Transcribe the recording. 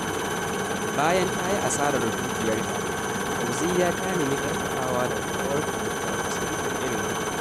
Bayan ta yi asarar dukiyarta, Fauziyya ta nemi ƙarfafawa daga ƙawarta da ta taɓa fuskantar irin haka.